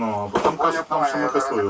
Nə isə, ya da orada nəsə edir.